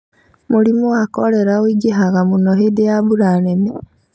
Mũrimũ wa korera ũingĩhaga mũno hĩndĩ ya mbura nene